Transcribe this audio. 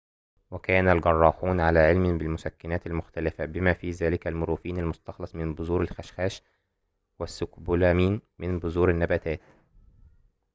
وكان الجراحون على علم بالمسكنات المختلفة بما في ذلك المورفين المستخلص من بذور الخشخاش والسكوبولامين من بذور النباتات